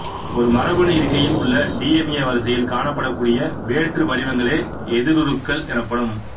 ஒரு மரபணு இருக்கையில் உள்ள டி என் ஏ வரிசையில் காணப்படக்கூடிய வேற்று வடிவங்களே எதிருருக்கள் எனப்படும்